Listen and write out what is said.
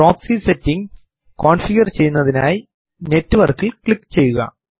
proxy settings configure ചെയുന്നതിനായി network ഇൽ click ചെയ്യുക